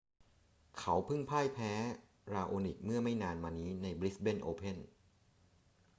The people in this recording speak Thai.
เขาเพิ่งพ่ายแพ้ราโอนิกเมื่อไม่นานมานี้ในบริสเบนโอเพ่น